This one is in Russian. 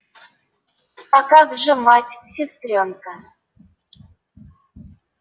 а как же мать сестрёнка